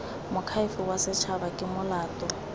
moakhaefe wa setshaba ke molato